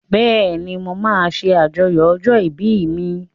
Bẹ́ẹ̀ni, mo máa ṣàjọyọ̀ ọjọ́ ìbí mi.